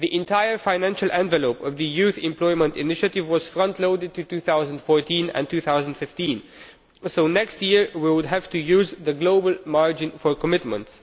The entire financial envelope of the Youth Employment Initiative was frontloaded to 2014 and 2015, so next year we will have to use the global margin for commitments.